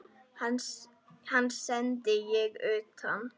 Hann sendi ég utan.